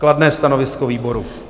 Kladné stanovisko výboru.